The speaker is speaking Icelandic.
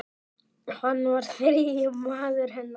Hann var þriðji maður hennar.